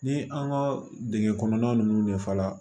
Ni an ka dingɛn kɔnɔn ninnu de faga